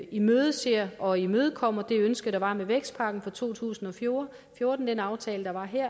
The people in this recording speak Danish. imødeser og imødekommer det ønske der var med vækstpakken fra to tusind og fjorten den aftale der var her